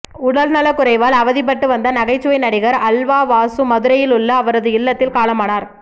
உடல்நல குறைவால் அவதிப்பட்டு வந்த நகைச்சுவை நடிகர் அல்வா வாசு மதுரையில் உள்ள அவரது இல்லத்தில் காலமானார்